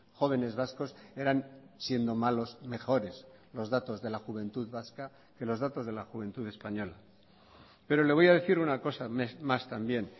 jóvenes vascos eran siendo malos mejores los datos de la juventud vasca que los datos de la juventud española pero le voy a decir una cosa más también